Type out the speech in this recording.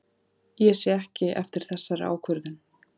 Ég sé ekki eftir þessari ákvörðun.